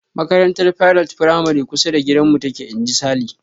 "Makarantar Pilot firamare kusa da gudanmu take." Inji Sale.